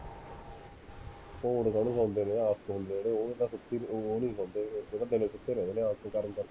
ਭੂੰਡ ਤਾਂ ਨੀ ਸੌਂਦੇ ਹੋਣੇ, ਆਪ ਸੌਂਦੇ ਹੋਣੇ